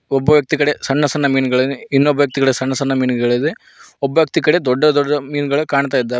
ಒಬ್ಬ ವ್ಯಕ್ತಿ ಕಡೆ ಸಣ್ಣ ಸಣ್ಣ ಮೀನುಗಳಿದೆ ಇನ್ನೊಬ್ಬ ವ್ಯಕ್ತಿ ಕಡೆ ಸಣ್ಣ ಸಣ್ಣ ಮೀನುಗಳಿದೆ ಒಬ್ಬ ವ್ಯಕ್ತಿ ಕಡೆ ದೊಡ್ಡ ದೊಡ್ಡ ಮೀನುಗಳು ಕಾಣ್ತಾ ಇದ್ದಾವೆ.